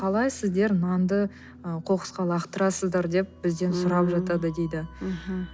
қалай сіздер нанды ы қоқысқа лақтырасыздар деп бізден сұрап жатады дейді мхм